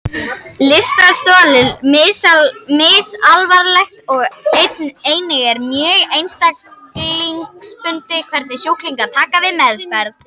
Lystarstol er misalvarlegt og einnig er mjög einstaklingsbundið hvernig sjúklingar taka við meðferð.